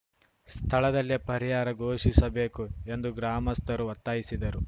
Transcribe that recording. ಸ್ಥಳದಲ್ಲೇ ಪರಿಹಾರ ಘೋಷಿಸಬೇಕು ಎಂದು ಗ್ರಾಮಸ್ಥರು ಒತ್ತಾಯಿಸಿದರು